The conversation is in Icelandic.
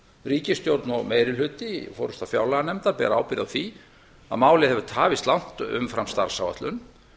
ríkisstjórn og meiri hluti forseta fjárlaganefndar bera ábyrgð á því að málið hefur tafist langt umfram starfsáætlun